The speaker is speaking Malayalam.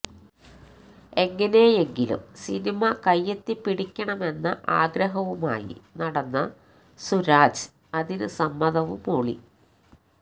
എങ്ങനെയെങ്കിലും സിനിമ കൈയെത്തിപ്പിടിക്കണമെന്ന ആഗ്രഹവുമായി നടന്ന സുരാജ് അതിന് സമ്മതവും മൂളി